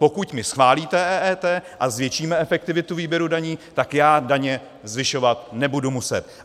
Pokud mi schválíte EET a zvětšíme efektivitu výběru daní, tak já daně zvyšovat nebudu muset.